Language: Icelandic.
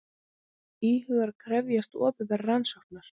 Íhugar að krefjast opinberrar rannsóknar